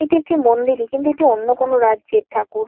এটি একটি মন্দিরই। কিন্তু একটি অন্য কোনো রাজ্যের ঠাকুর।